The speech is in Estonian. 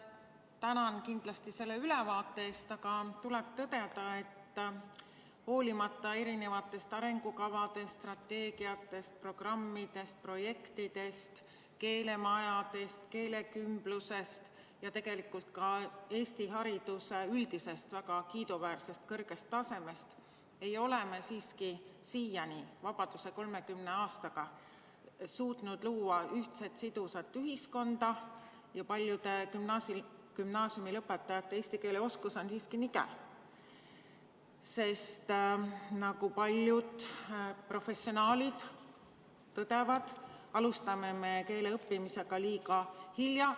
Tänan kindlasti selle ülevaate eest, aga tuleb tõdeda, et hoolimata erinevatest arengukavade strateegiatest, programmidest, projektidest, keelemajadest, keelekümblusest ja tegelikult ka Eesti hariduse üldisest väga kiiduväärsest kõrgest tasemest ei ole me siiski siiani, 30 vabadusaastaga suutnud luua ühtset sidusat ühiskonda ja paljude gümnaasiumilõpetajate eesti keele oskus on siiski nigel, sest nagu paljud professionaalid tõdevad, alustame keele õppimist liiga hilja.